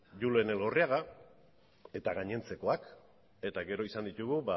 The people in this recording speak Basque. julen elgorriaga eta gainontzekoak eta gero izan ditugu